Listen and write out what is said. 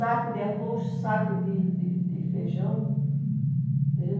Saco de arroz, saco de de de feijão. A gente